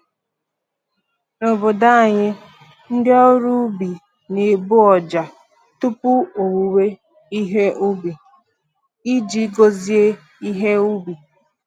N’obodo anyị, ndị ọrụ ubi na-egbu ọjà tupu owuwe ihe ubi, iji gozie ihe ubi.